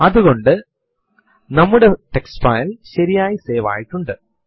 ഇതിനുവേണ്ടി നമുക്ക് password command ഉണ്ട്